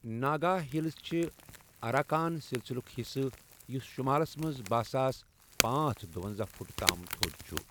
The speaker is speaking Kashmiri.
ناگا ہِلز چِھ اراکان سِلسِلٗك حِصہٕ، یُس شُمالَس مَنٛز باہ ساس پانژھ دُۄنزاہَ فُٹ تام تھو٘د چُھ ۔